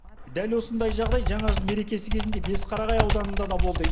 дәл осындай жағдай жаңа жыл мерекесі кезінде бесқарағай ауданында да болды